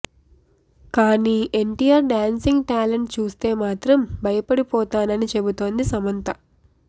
కానీ NTR dancing talent చూస్తే మాత్రం భయపడిపోతానని చెబుతోంది సమంత